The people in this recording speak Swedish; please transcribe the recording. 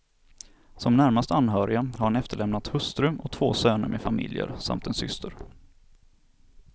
Som närmaste anhöriga har han efterlämnat hustru och två söner med familjer samt en syster.